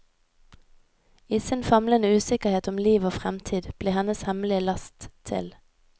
I sin famlende usikkerhet om liv og fremtid blir hennes hemmelige last til.